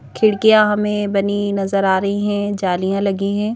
खिड़कियां हमें बनी नजर आ रही हैं जालियां लगी हैं।